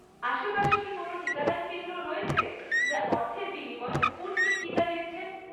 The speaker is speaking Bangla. আশেপাশে কি কোনও টিকাদান কেন্দ্র রয়েছে, যা অর্থের বিনিময়ে স্পুটনিক টিকা দিচ্ছে?